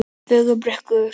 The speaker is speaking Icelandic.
Fögrubrekku